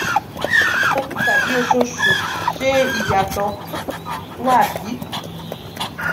lọdọọdun tabi oṣooṣu” ṣe iyatọ wa bi?